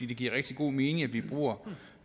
det giver rigtig god mening at vi bruger